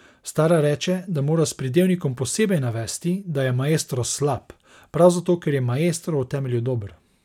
Stara reče, da mora s pridevnikom posebej navesti, da je maestro slab, prav zato, ker je maestro v temelju dober.